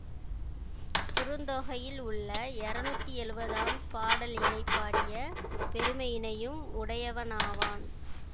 குறுந்தொகையில் உள்ள இருநூத்தி எழுவதாம் பாடலினைப் பாடிய பெருமையினையும் உடையவனாவான்